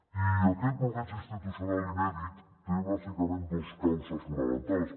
i aquest bloqueig institucional inèdit té bàsicament dues causes fonamentals